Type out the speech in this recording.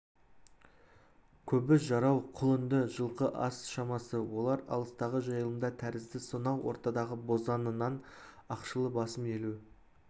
көбі жарау құлынды жылқы аз шамасы олар алыстағы жайылымда тәрізді сонау ортадағы бозаңынан ақшылы басым елу